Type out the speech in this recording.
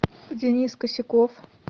денис косяков